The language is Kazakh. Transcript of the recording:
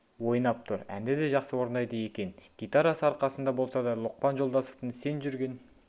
ойнап тұр әнді де жақсы орындайды екен гитарасы арқасында болса да лұқпан жолдасовтың сен жүрген